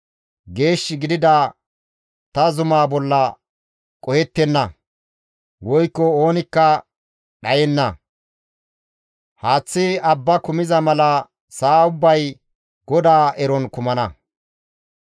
Geeshshi gidida ta zumaa bolla qohettenna woykko oonikka dhayenna; haaththi abba kumiza mala sa7a ubbay GODAA eron kumana.